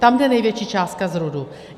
Tam jde největší částka z RUDu.